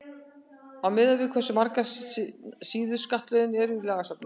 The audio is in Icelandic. á að miða við hversu margar síður skattalögin eru í lagasafninu